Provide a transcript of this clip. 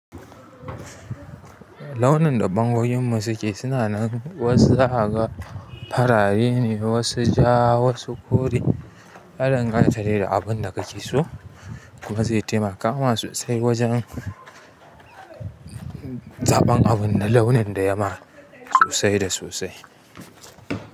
Launin da bangogin mu suke suna nan wasu zaka ga farare ne wasu ja ga farare ne wasu ja wasu kore. Ya dan gsnta dai da abun da kake so kuma zai taimaka ma sosai wajen zaɓan abun da launin da yama sosai da sosai.